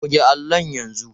Goge allon yanzu.